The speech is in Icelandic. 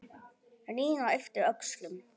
Nína yppti öxlum.